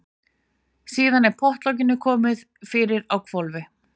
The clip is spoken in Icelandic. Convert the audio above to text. Síðan er pottlokinu komið fyrir á hvolfi.